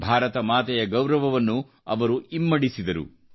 ಭಾರತ ಮಾತೆಯ ಗೌರವವನ್ನು ಅವರು ಇಮ್ಮಡಿಸಿದರು